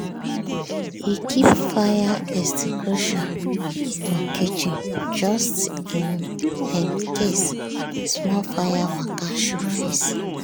e keep fire extinguisher for kitchen just in um case small fire waka show face.